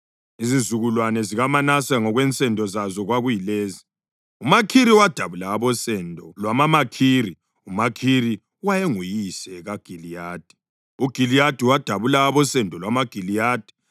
Izizukulwane zikaManase ngokwensendo zazo kwakuyilezi: uMakhiri wadabula abosendo lwamaMakhiri (uMakhiri wayenguyise kaGiliyadi); uGiliyadi wadabula abosendo lwamaGiliyadi.